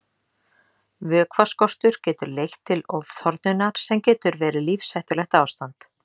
Vökvaskortur getur leitt til ofþornunar sem getur verið lífshættulegt ástand.